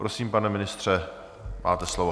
Prosím, pane ministře, máte slovo.